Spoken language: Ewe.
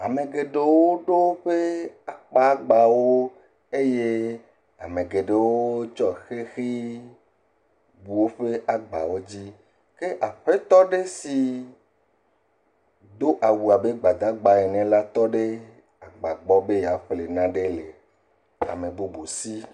Ame geɖewo ɖo woƒe akpa gbawo, eye ame geɖewo tsɔ xexi bu woƒe agbawo dzi, ke aƒetɔ aɖe si do awu abe gbadagba ene la tɔ ɖe agba gbɔ be yeaƒle nane le ame bubu si.